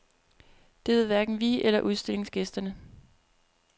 Det ved hverken vi eller udstillingsgæsterne.